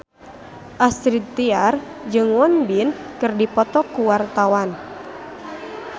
Astrid Tiar jeung Won Bin keur dipoto ku wartawan